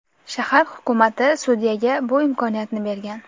Shahar hukumati sudyaga bu imkoniyatni bergan.